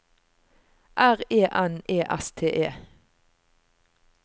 R E N E S T E